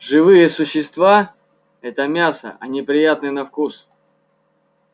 живые существа это мясо они приятны на вкус